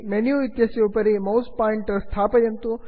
menu इत्यस्य उपरि mouse pointer इत्येतत् स्थगयन्तु